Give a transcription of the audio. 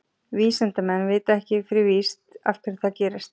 Vísindamenn vita ekki fyrir víst af hverju það gerist.